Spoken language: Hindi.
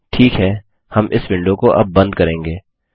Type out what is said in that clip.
ठीक है हम इस विंडो को अब बंद करेंगे